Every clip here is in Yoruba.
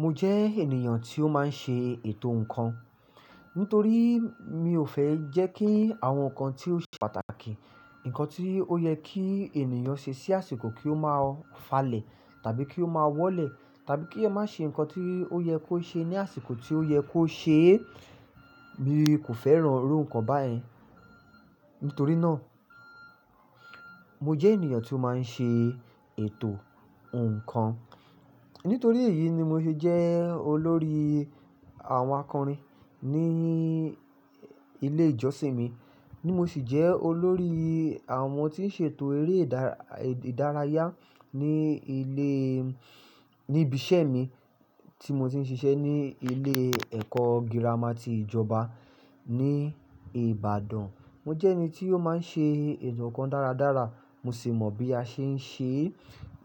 Mo jẹ́ ènìyàn tí ó máa ń ṣe ètò nǹkan. Nítorí mi ò fẹ́ jẹ́ kí àwọn nǹkan tí ó ṣe pàtàkì, nǹkan tí ó yẹ kí ènìyàn ṣe sí àsìkò kí ó máa falẹ̀ tàbí kí ó máa wọ́lẹ̀ tàbí kí ẹ má ṣe nǹkan tí ó yẹ kó ṣe ní àsìkò tí ó yẹ kó ṣe é. Mi kò fẹ́ràn irú nǹkan báyẹn. Nítorí náà, mo jẹ́ ènìyàn tí ó máa ń ṣe ètò ǹkan. Nítorí èyí ni mo ṣe jẹ́ olórí àwọn akọrin ní ilé ìjọsìn mi, ni mo sì jẹ́ olórí àwọn tí ń ṣètò eré ìdárayá ní ilé, ní ibi iṣẹ́ mi tí mo ti ń ṣiṣẹ́ ní ilé ẹ̀kọ́ gírámà ti ìjọba ní Ìbàdàn. Mo jẹ́ ẹni tí ó máa ń ṣe ètò nǹkan dáradára, mo sì mọ̀ bí a ṣe ń ṣe é.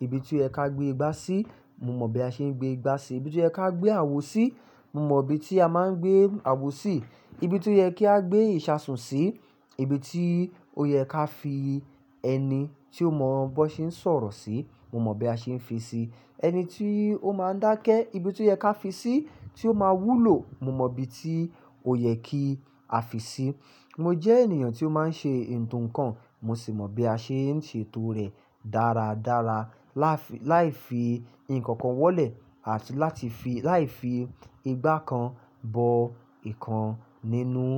Ibi tó yẹ ká gbé igbá sí, mo mọ bí a ṣe ń gbé igbá síi. Ibi tó yẹ ka gbé àwo sí, mo mọ ibi tí a máa ń gbé àwo sí. Ibi tí ó yẹ kí a gbé ìṣasùn sí, ibi tí ó yẹ ká fi ẹni tí o mọ bọ́ ṣe ń sọ̀rọ̀ sí, mo mọ̀ bí a ṣe ń fi síi. Ẹni tí ó máa ń dákẹ́, ibi tí ó yẹ ká fi sí tí ó máa wúlò, mo mọ ibi tí ó yẹ kí a fi sí. Mo jẹ́ ènìyàn tí ó máa ń ṣe ètò nǹkan, mo sì mọ̀ bí a ṣe ń ṣe ètò rẹ̀ dáradára. Láì fi nǹkan kan wọ́lẹ̀ àti láti fi, láì fi igbá kan bọ ìkan nínú.